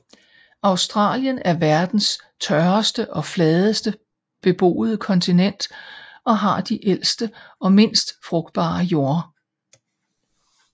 Australien er verdens tørreste og fladeste beboede kontinent og har de ældste og mindst frugtbare jorder